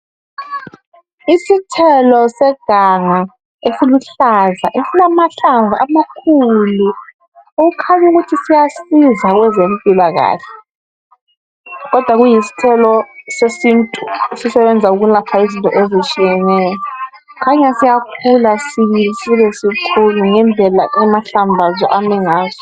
Isithelo seganga esiluhlaza esilamahlamvu amakhulu okukhanyu kuthi siyasiza kwezempilakahle . Kodwa kuyisithelo sesintu esisebenza ukulapha izinto ezitshiyeneyo . Kukhanya siyakhula sibili sibesikhulu ngendlela amahlamvu aso ame ngaso.